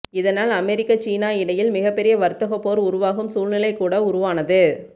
இதனால் அமெரிக்கா சீனா இடையில் மிகப்பெரிய வர்த்தகப் போர் உருவாகும் சூழ்நிலை கூட உருவானது